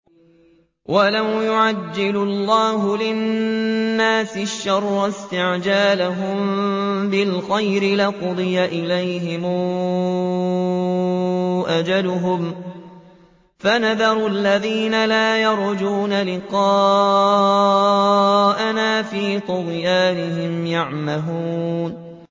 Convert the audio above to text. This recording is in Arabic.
۞ وَلَوْ يُعَجِّلُ اللَّهُ لِلنَّاسِ الشَّرَّ اسْتِعْجَالَهُم بِالْخَيْرِ لَقُضِيَ إِلَيْهِمْ أَجَلُهُمْ ۖ فَنَذَرُ الَّذِينَ لَا يَرْجُونَ لِقَاءَنَا فِي طُغْيَانِهِمْ يَعْمَهُونَ